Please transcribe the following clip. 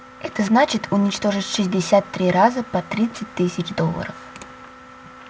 это значит уничтожить шестьдесят три раза по тридцать тысяч долларов